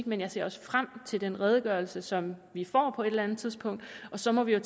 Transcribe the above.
men jeg ser også frem til den redegørelse som vi får på et eller andet tidspunkt og så må vi jo